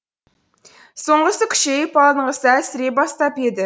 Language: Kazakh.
соңғысы күшейіп алдыңғысы әлсірей бастап еді